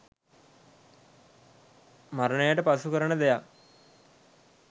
මරණයට පසු කරන දෙයක්